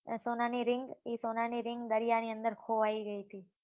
સોનાની ring ઈ સોનાની ring દરિયાની અંદર ખોવાઈ ગઈ હતી